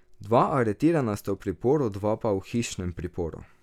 Dva aretirana sta v priporu, dva pa v hišnem priporu.